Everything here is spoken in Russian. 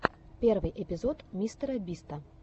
первый эпизод мистера биста